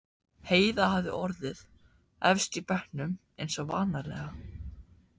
Heiða hafði orðið efst í bekknum eins og vanalega.